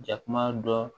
Jakuma dɔ